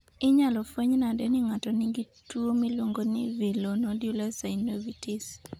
Inyalofweny nade ni ng'ato nigi tuwo miluongo ni villonodular synovitis?